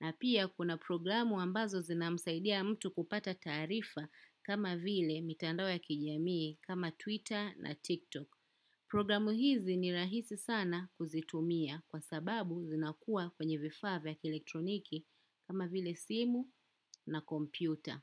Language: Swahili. Na pia kuna programu ambazo zinamsaidia mtu kupata taraifa kama vile mitandao ya kijamii kama Twitter na TikTok. Programu hizi ni rahisi sana kuzitumia. Kwa sababu, zinakua kwenye vifaa vya kielektroniki kama vile simu na kompyuta.